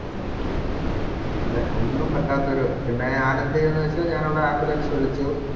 അതെ ഒന്നും പറ്റാത്തൊരു പിന്നെ ഞാൻ എന്തുചെയ്‌തെന്നു വെച്ചാൽ ഞാൻ അവിടെ ambulance വിളിച്ചു